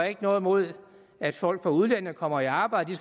ikke noget imod at folk fra udlandet kommer i arbejde